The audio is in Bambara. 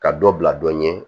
Ka dɔ bila dɔ ɲɛ